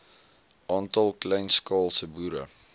aantal kleinskaalse boere